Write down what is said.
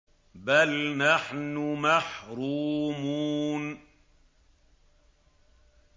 بَلْ نَحْنُ مَحْرُومُونَ